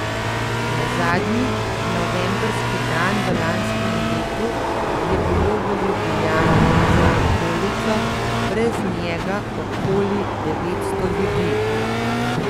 Na zadnji novembrski dan v lanskem letu je bilo v Ljubljani z okolico brez njega okoli devetsto ljudi.